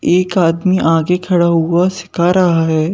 एक आदमी आगे खड़ा हुआ सिखा रहा है।